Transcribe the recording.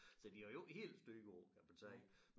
Så de har jo ikke helt styr på kan man sige